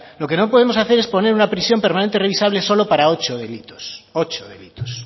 lo que no podemos hacer es poner una prisión permanente revisable solo para ocho delitos